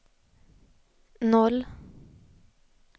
noll